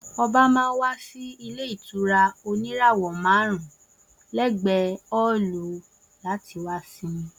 Oba má n wa si ile ìtura òní ìràwọ màrún lẹgbẹ ọolú, láti wá simi